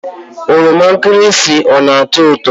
Oroma nkirisi ọ na-ató ụtọ?